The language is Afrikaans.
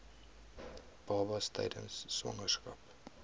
babas tydens swangerskap